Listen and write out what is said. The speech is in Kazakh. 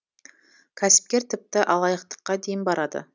кәсіпкер тіпті алаяқтыққа дейін барады